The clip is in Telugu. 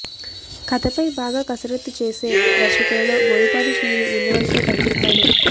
కథపై బాగా కసరత్తు చేసే దర్శకులలో బోయపాటి శ్రీను ముందువరుసలో కనిపిస్తాడు